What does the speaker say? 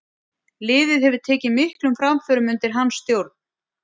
Liðið hefur tekið miklum framförum undir hans stjórn.